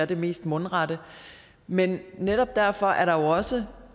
det mest mundrette men netop derfor er der jo også